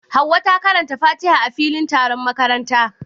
Hauwa ta karanta Fatiha a filin taron makaranta.